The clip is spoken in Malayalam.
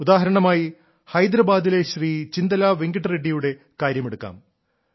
ഉദാഹരണമായി ഹൈദരാബാദിലെ ശ്രീ ചിന്തലാ വെങ്കിട്ട റെഡ്ഡിയുടെ കാര്യമെടുക്കാം